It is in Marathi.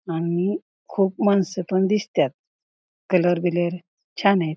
आणि खूप माणसं पण दिसत्यात कलर बिलर छान आहे.